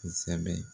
Kosɛbɛ